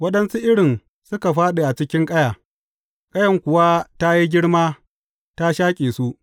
Waɗansu irin suka fāɗi a cikin ƙaya, ƙayan kuwa ta yi girma ta shaƙe su.